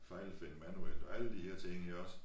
Fejlfinde manuelt og alle der her ting her også